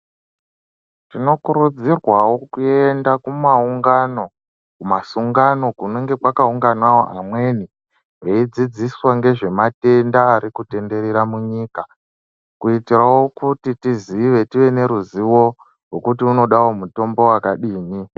Tinokurudzirwawo kuende kumaungano kumasungano kunenge kwakaunganawo vamweni kweidzidziswa ngezvematenda arikutenderera munyika kuitawo kuti tizive tive neruzivo rwekuti kunodawo mutombo wakadini.